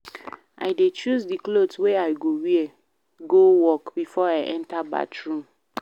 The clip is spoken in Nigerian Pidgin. I dey choose di cloth wey I go wear go work before I enta bathroom.